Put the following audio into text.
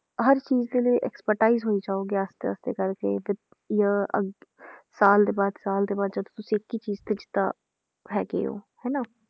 ਹਰ ਚੀਜ਼ ਦੇ ਲਈ expertise ਹੋਈ ਜਾਓ ਕਰਕੇ ਤੇ ਜਾਂ ਅੱਗੇ ਸਾਲ ਦੇ ਬਾਅਦ ਸਾਲ ਦੇ ਬਾਅਦ ਜਦ ਤੁਸੀਂ ਇੱਕ ਹੀ ਚੀਜ਼ ਹੈਗੇ ਹੋ ਹਨਾ